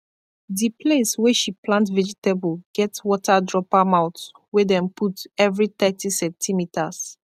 di place wey she plant vegetable get water dropper mouth wey dem put every thirty centimeters